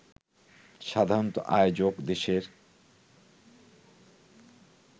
সাধারণত আয়োজক দেশের